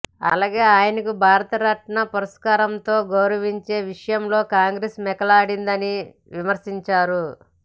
అలాగే ఆయనకు భారతరత్న పురస్కారంతో గౌరవించే విషయంలో కాంగ్రెస్ మోకాలడ్డిందని విమర్శించారు